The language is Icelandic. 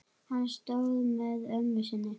Hann stóð með ömmu sinni.